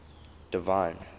divine